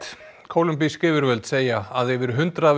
kólumbísk yfirvöld segja að yfir hundrað